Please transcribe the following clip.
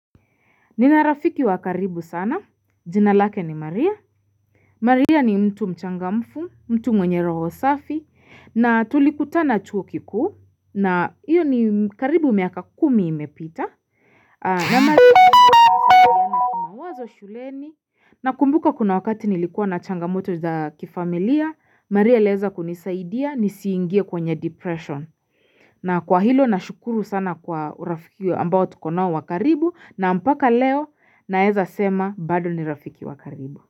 Nina rafiki wakaribu sana, jina lake ni Maria. Maria ni mtu mchangamfu, mtu mwenye roho safi, na tulikutana chuo kikuu, na iyo ni karibu miaka kumi imepita. Na Maria ni mwazo shuleni, na kumbuka kuna wakati nilikuwa na changamoto za kifamila, Maria aliweza kunisaidia nisiingie kwenye depression. Na kwa hilo na shukuru sana kwa urafiki ambao tukonoa wakaribu na mpaka leo na eza sema bado ni rafiki wakaribu.